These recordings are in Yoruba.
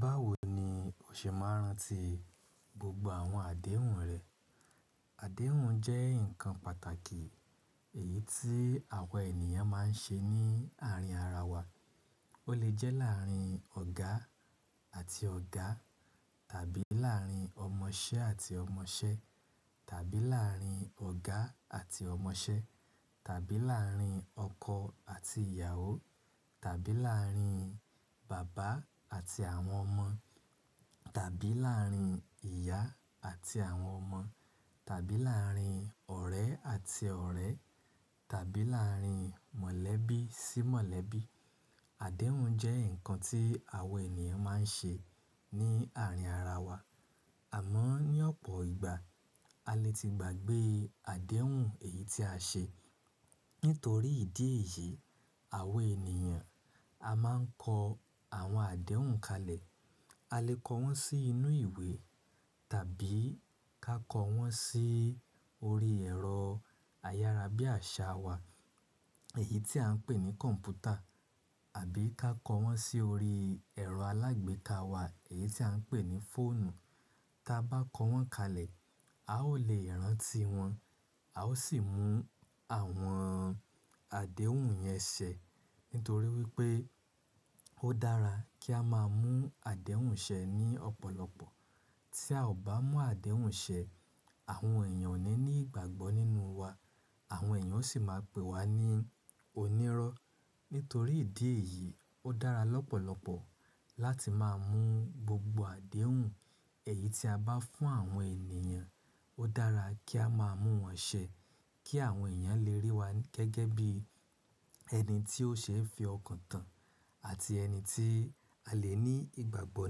Báwo ni o ṣe máa ń rántí gbogbo àwọn àdéhùn rẹ? Àdéhùn jẹ́ ǹkan pàtàkì èyí tí àwa ènìyàn máa ń ṣe ní àárín ara wa. Ó lè jẹ́ láàrín ọ̀gá àti ọ̀gá tàbí láàrín ọmọṣẹ́ àti ọmọṣẹ́ tàbí láàrín ọ̀gá àti ọmọṣẹ́ tàbí láàrín ọkọ àti ìyàwó tàbí láàrín bàbá àti àwọn ọmọ tàbí láàrín ìyá àti àwọn ọmọ tàbí láàrín ọ̀rẹ́ àti ọ̀rẹ́ tàbí láàrín mọ̀lẹ́bí sí mọ̀lẹ́bí. Àdéhùn jẹ́ ǹkan tí àwa ènìyàn máa ń ṣe ní àárín ara wa. Àmọ́ ní ọ̀pọ̀ ìgbà, a le ti gbàgbé àdéhùn èyí tí a ṣe. Nítorí ìdí èyí, àwa ènìyàn a máa ń kọ àwọn àdéhùn kalẹ̀. A lè kọ wọ́n sí inú ìwé tàbí ká kọ wọ́n sí orí ẹ̀rọ ayára bí àṣá wa, èyí tí à ń pè ní kọ̀ǹpútà àbí ká kọ wọ́n sí orí ẹ̀rọ alágbèéká wa, èyí tí à ń pè ní fóònù. Tí a bá kọ wọ́n kalẹ̀, a ó lè rántí wọn. A ó sì mú àwọn àdéhùn yẹn ṣẹ. Nítorí wípé ó dára kí a máa mú àdéhùn ṣẹ ní ọ̀pọ̀lọpọ̀. Tí a ò bá mú àdéhùn ṣẹ, àwọn èèyàn ò ní ní ìgbàgbọ́ nínú wa. Àwọn èèyàn sì máa pè wa ní onírọ́. Nítorí ìdí èyí, ó dára lọ́pọ̀lọpọ̀ láti máa mú gbogbo àdéhùn èyí tí a bá fún àwọn ènìyàn, ó dára kí a máa mú wọn ṣẹ kí àwọn èèyàn lè rí wa gẹ́gẹ́ bí ẹni tí ó ṣe ń fi ọkàn tán àti ẹni tí a lè ní ìgbàgbọ́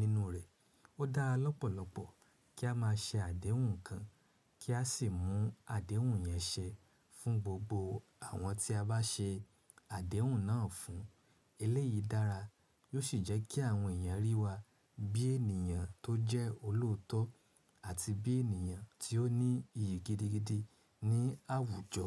nínú rẹ̀. Ó dára lọ́pọ̀lọpọ̀ kí a máa ṣe àdéhùn kan kí a sì mú àdéhùn yẹn ṣe fún gbogbo àwọn tí a bá ṣe àdéhùn náà fún. Eléyìí dára, yóò sì jẹ́ kí àwọn èèyàn rí wa bí ènìyàn tó jẹ́ olóòótọ́ àti bí ènìyàn tí ó ní iyì gidigidi ní àwùjọ.